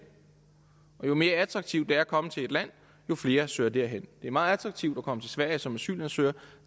jo mere attraktivt at komme til et land jo flere søger derhen det er meget attraktivt at komme til sverige som asylansøger og